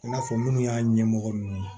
I n'a fɔ minnu y'a ɲɛmɔgɔ ninnu ye